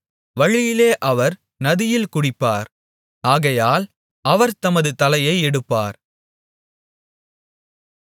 வழியிலே அவர் நதியில் குடிப்பார் ஆகையால் அவர் தமது தலையை எடுப்பார்